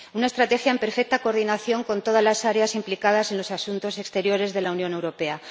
una estrategia en perfecta coordinación con todas las áreas implicadas en los asuntos exteriores de la Unión Europea